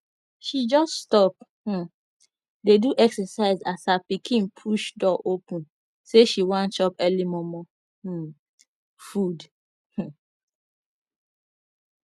she jus stop um dey do exercise as her pikin push door open say she wan chop early momo um food um